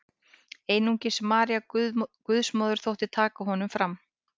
Einungis María Guðsmóðir þótti taka honum fram.